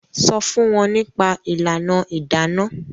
sọ fún wọn nípa ìlànà Idana.